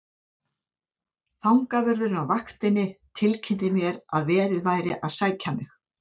Fangavörðurinn á vaktinni tilkynnti mér að verið væri að sækja mig.